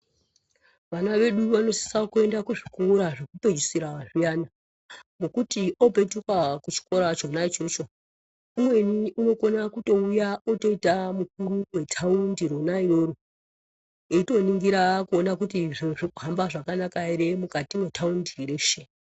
Vana vedu vanosisa kuenda kuzvikora zvekupedzisira zviyani ngekuti opetuka kuchikora chona ichocho umweni anokona kuuya oita mukuru wetaundi rona iroro eitoningira kuona kuti zviro zviri kuhamba zvakanaka here mukati mwetaundi reshe.